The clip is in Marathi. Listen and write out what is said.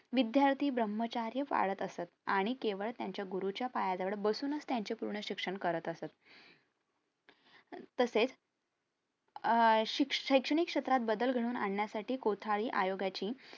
विद्यार्थी ब्रह्माचार पाळत असत आणि केवळ त्यांच्या गुरु च्या पायाजवळ बसूनच त्यांचे पूर्ण शिक्षण करत असत तसेच अह शैक्षणिक क्षेत्रात बदल घडून आणण्यासाठी कोठाळी आयोगाची